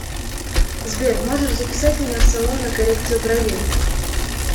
сбер можешь записать меня в салон на коррекцию бровей